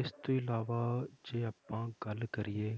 ਇਸ ਤੋਂ ਇਲਾਵਾ ਜੇ ਆਪਾਂ ਗੱਲ ਕਰੀਏ।